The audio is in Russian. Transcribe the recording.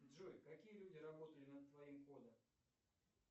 джой какие люди работали над твоим кодом